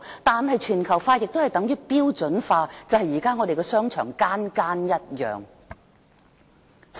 但是，全球化亦等於標準化，就是現時我們的商場全部一樣。